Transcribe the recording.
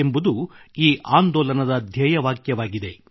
ಎಂಬುದು ಈ ಆಂದೋಲನದ ಧ್ಯೇಯವಾಕ್ಯವಾಗಿದೆ